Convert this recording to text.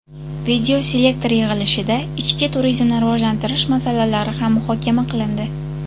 Videoselektor yig‘ilishida ichki turizmni rivojlantirish masalalari ham muhokama qilindi.